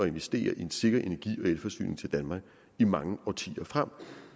investere i en sikker energi og elforsyning til danmark i mange årtier frem